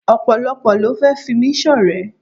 Ọ̀pọ̀lọ́pọ̀ ló fẹ́ fi mí ṣọ̀rẹ́.